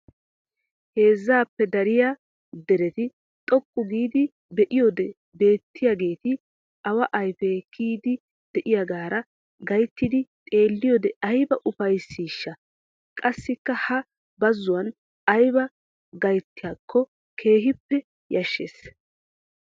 Heezzaappe dariya derete xoqqu giid be'iyoode beettiyaageeti awa ayfee kiyiid de"iyaagaara gayttidi xeelliyode aybbaa ufayssisha. Qassikka ha bazzuwan aybba gayttiyakko keehiippe yashshees!!